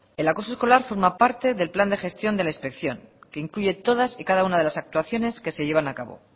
el acoso escolar forma parte del plan de gestión de la inspección que incluye todas y cada una de las actuaciones que se llevan a cabo